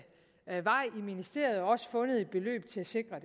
ministeriet også har fundet et beløb til at sikre